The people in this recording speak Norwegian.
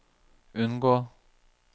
unngå